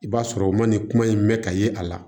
I b'a sɔrɔ u ma nin kuma in mɛn ka ye a la